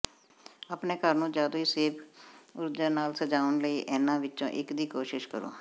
ਆਪਣੇ ਘਰ ਨੂੰ ਜਾਦੂਈ ਸੇਬ ਊਰਜਾ ਨਾਲ ਸਜਾਉਣ ਲਈ ਇਹਨਾਂ ਵਿੱਚੋਂ ਇੱਕ ਦੀ ਕੋਸ਼ਿਸ਼ ਕਰੋ